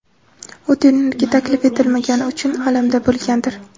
U turnirga taklif etilmagani uchun alamda bo‘lgandir.